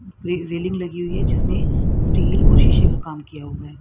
Railing लगी हुई है जिसमें स्टील और शीशे का काम किया हुआ है।